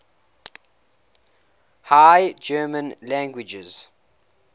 high german languages